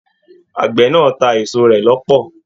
Àgbẹ̀ náà ta a èso rẹ l'ọpọ.